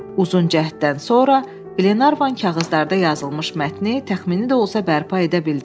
Uzun cəhddən sonra Qlenarvan kağızlarda yazılmış mətni təxmini də olsa bərpa edə bildi.